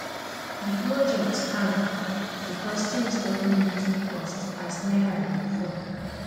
di project hang because things don dey too cost as naira dey fall